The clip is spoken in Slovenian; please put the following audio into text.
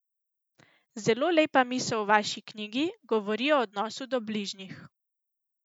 Zelo lepa misel v vaši knjigi govori o odnosu do bližnjih.